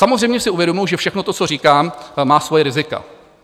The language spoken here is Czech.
Samozřejmě si uvědomuji, že všechno to, co říkám, má svoje rizika.